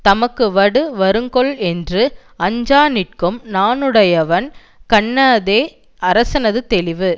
தமக்கு வடு வருங்கொல் என்று அஞ்சா நிற்கும் நாணுடையவன் கண்ணதே அரசனது தெளிவு